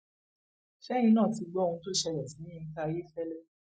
ṣẹyìn náà ti gbọ ohun tó ṣẹlẹ sí yinka ayéfẹlẹ